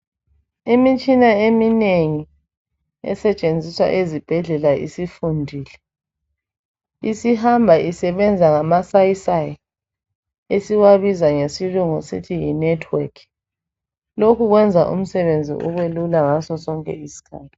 Imitshina eminengi esetshenziswa ezibhedlela isifundile isihamba isebenza ngama sayisayi esiwabiza ngesilungu sithi yi "Network". Lokhu kwenza umsebenzi ubelula ngasosonke isikhathi.